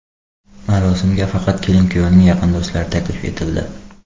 Marosimga faqat kelin-kuyovning yaqin do‘stlari taklif etildi.